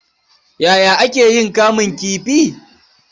Yaya ake yin kamun kifii?